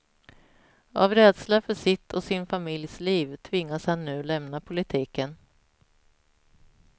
Av rädsla för sitt och sin familjs liv tvingas han nu lämna politiken.